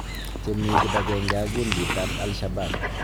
Chemii kibang'eng'e ak gundiit ab Al-Shabab.